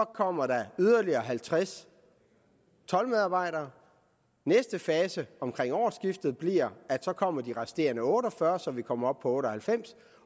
kommer der yderligere halvtreds toldmedarbejdere næste fase omkring årsskiftet bliver at så kommer de resterende otte og fyrre så vi kommer op på otte og halvfems